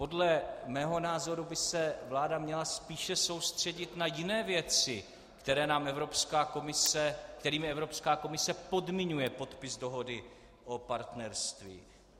Podle mého názoru by se vláda měla spíš soustředit na jiné věci, kterými Evropská komise podmiňuje podpis dohody o partnerství.